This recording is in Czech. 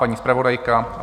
Paní zpravodajka?